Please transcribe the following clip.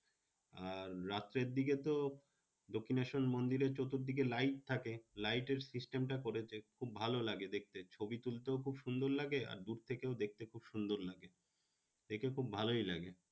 আর রাত্রের দিকে তো দক্ষিনেশ্বর মন্দিরে চতুরদিকে light থাকে। light এর system টা করেছে খুব ভালো লাগে দেখতে। ছবি তুলতেও খুব সুন্দর লাগে। আর দূর থেকেও দেখতে খুব সুন্দর লাগে। দেখে খুব ভালোই লাগে।